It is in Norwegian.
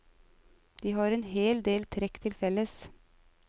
De har en hel del trekk til felles.